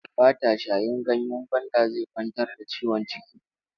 Ba ta shayin ganyen gwanda zai kwantar da ciwon ciki.